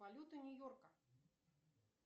валюта нью йорка